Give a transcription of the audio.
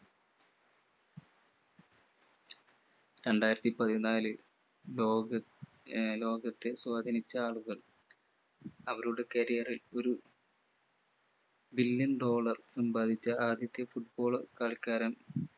രണ്ടായിരത്തിപതിനാല് ലോക ആഹ് ലോകത്തെ സ്വാധീനിച്ച ആളുകൾ അവരുടെ career ൽ ഒരു billion dollar സമ്പാദിച്ച ആദ്യത്തെ football കളിക്കാരൻ